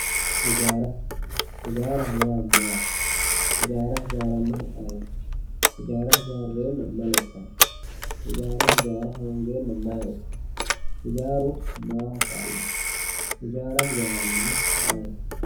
Ijjaara, ijjaaraho yaa maati, ijjaara ijjaaranohu ayeeti, ijjarra ijjaareenna mayi lexano, ijjaara ijjaara hongenna mayi hooganno, ijjaaru maaho kaalanno, ijjaara ijjaarahu ayeeti